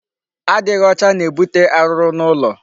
Adịghị ọcha na-ebute arụrụ n'ụlọ.